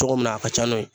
Cogo min na a ka ca n'o ye